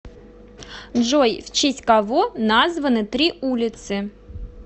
джой в честь кого названы три улицы